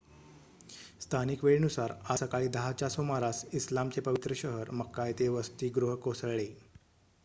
स्थानिक वेळेनुसार आज सकाळी 10 च्या सुमारास इस्लामचे पवित्र शहर मक्का येथे वसतिगृह कोसळले